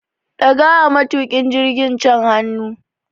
Daga wa matukin jirgin can hannu